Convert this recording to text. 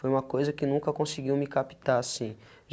Foi uma coisa que nunca conseguiu me captar assim.